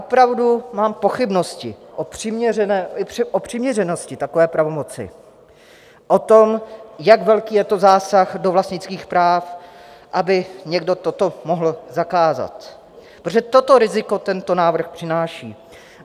Opravdu mám pochybnosti o přiměřenosti takové pravomoci, o tom, jak velký je to zásah do vlastnických práv, aby někdo toto mohl zakázat, protože toto riziko tento návrh přináší.